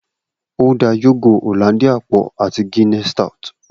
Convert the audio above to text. O da yogo Hollandia pọ ati Guinness stout.